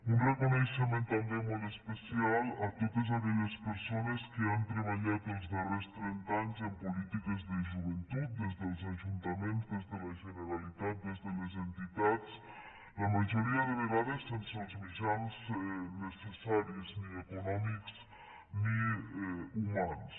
un reconeixement també molt especial a totes aquelles persones que han treballat els darrers trenta anys en polítiques de joventut des dels ajuntaments des de la generalitat des de les entitats la majoria de vegades sense els mitjans necessaris ni econòmics ni humans